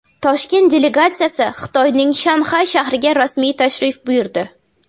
Toshkent delegatsiyasi Xitoyning Shanxay shahriga rasmiy tashrif buyurdi.